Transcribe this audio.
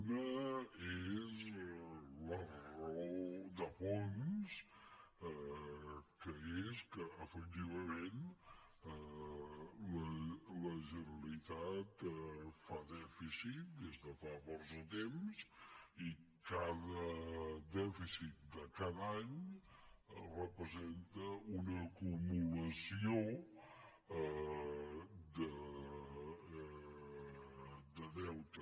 una és la raó de fons que és que efectivament la generalitat fa dèficit des de fa força temps i cada dèficit de cada any representa una acumulació de deute